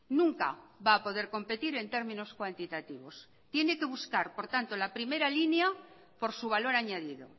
nunca va a poder competir en términos cuantitativos tiene que buscar por tanto la primera línea por su valor añadido